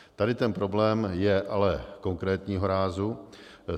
Tady ten problém je ale konkrétního rázu.